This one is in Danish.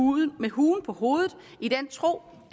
ud med huen på hovedet i den tro